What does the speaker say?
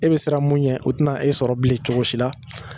E be siran mun yɛn o te na e sɔrɔ bilen cogo si la